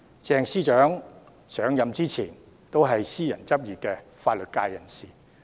鄭司長上任前是私人執業的法律界人士。